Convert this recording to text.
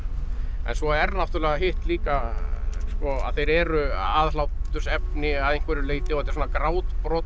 en svo er náttúrulega hitt líka að þeir eru aðhlátursefni að einhverju leyti og þetta er svona grátbroslegt